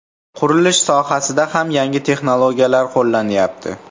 Qurilish sohasida ham yangi texnologiyalar qo‘llanyapti.